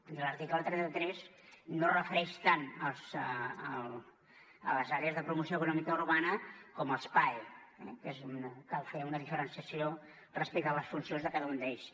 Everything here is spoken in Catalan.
i l’article trenta tres no es refereix tant a les àrees de promoció econòmica urbana com als paes eh que cal fer una diferenciació respecte a les funcions de cada un d’ells